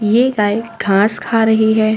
ये गाय घास खा रही है।